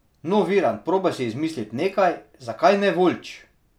No Virant probaj si izmislit nekaj, zakaj ne Voljč!